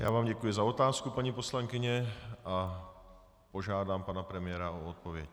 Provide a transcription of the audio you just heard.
Já vám děkuji za otázku, paní poslankyně, a požádám pana premiéra o odpověď.